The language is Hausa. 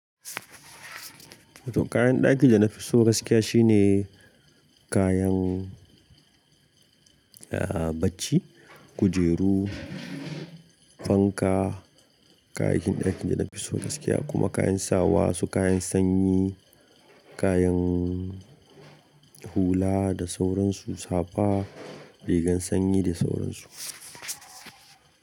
To kayan ɗaki da na fi so gaskiya shine kayan, ah bacci, kujeru, fanka, kayakin ɗakin da na fi so gaskiya kuma kayan sawa su kayan sanyi, kayan hula da sauransu safa, rigar sanyi da sauransu.